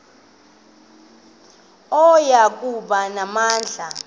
oya kuba namandla